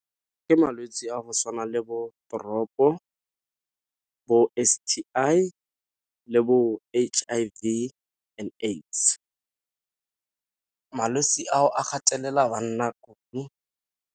Ke malwetse a go tshwana le bo Drop-o bo S_T_I le bo H_I_V and AIDS, malwetse ao a gatelela banna .